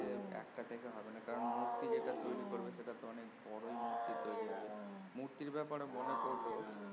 একটা থেকে হবে না কারন মূর্তি যেটা তৈরি করবে সেটা তো অনেক বড়য় মূর্তি তৈরি হবে মূর্তি ব্যাপারে মনে পরলো